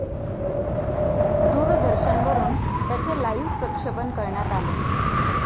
दूरदर्शनवरून त्याचे लाइव्ह प्रक्षेपण करण्यात आले.